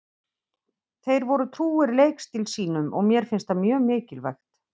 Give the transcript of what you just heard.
Þeir voru trúir leikstíl sínum og mér finnst það mjög mikilvægt.